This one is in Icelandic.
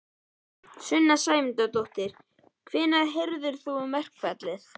Sunna Sæmundsdóttir: Hvenær heyrðir þú um verkfallið?